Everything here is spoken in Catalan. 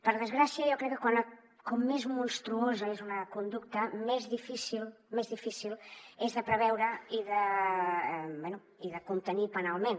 per desgràcia jo crec que com més monstruosa és una conducta més difícil és de preveure i de contenir penalment